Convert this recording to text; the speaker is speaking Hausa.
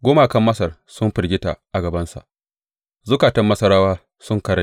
Gumakan Masar sun firgita a gabansa, zukatan Masarawa sun karai.